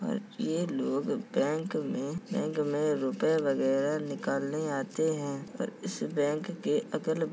और ये लोग बैंक में बैंक में रुपये वगेरा निकालने आते हैं और इस बैंक के अगल ब --